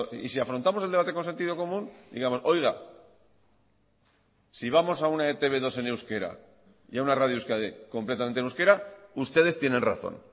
y si afrontamos el debate con sentido común digamosoiga si vamos a una etb dos en euskera y a una radio euskadi completamente en euskera ustedes tienen razón